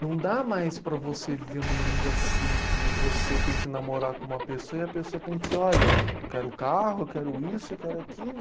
não dá mais para você viver num mundo assim que você tem que namorar com uma pessoa e a pessoa tem que, olha, eu quero o carro, eu quero isso, eu quero aquilo.